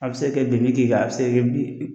A be se ka kɛ di la, a be se